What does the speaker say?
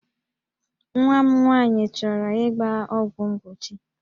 Nwa m nwaanyị chọrọ ịgba ọgwụ mgbochi